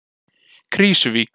Krýsuvík